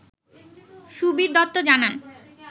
সুবির দত্ত জানান